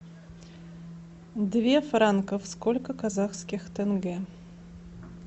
две франков сколько казахских тенге